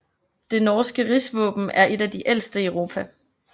Det norske rigsvåben er et af de ældste i Europa